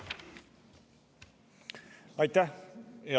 Aitäh!